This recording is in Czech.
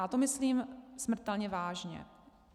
A to myslím smrtelně vážně.